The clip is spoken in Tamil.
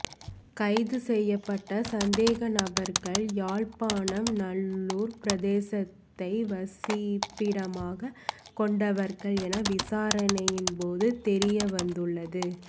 கைது செய்யப்பட்ட சந்தேகநபர்கள் யாழ்ப்பாணம் நல்லூர் பிரதேசத்தை வசிப்பிடமாக கொண்டவர்கள் என விசாரணையின் போது தெரியவந்துள்ளது